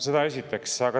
Seda esiteks.